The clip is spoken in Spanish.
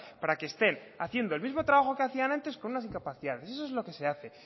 para que estén haciendo el mismo trabajo que hacían antes con unas incapacidades eso es lo que se hace